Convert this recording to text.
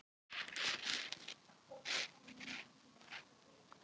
Höskuldur: Hvernig lýsir hún sér?